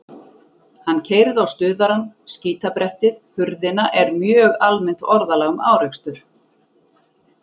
Hann keyrði á stuðarann, skítbrettið, hurðina er mjög almennt orðalag um árekstur.